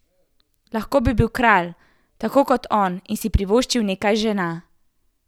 Lahko bi bil kralj, tako kot on, in si privoščil nekaj žena.